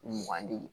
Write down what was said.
Mugan di